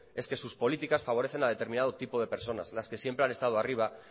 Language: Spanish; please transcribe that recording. es que sus políticas favorecen a determinado tipo de personas las que siempre han estado arriba